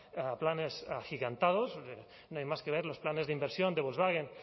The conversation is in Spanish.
a planes agigantados no hay más que ver los planes de inversión de volkswagen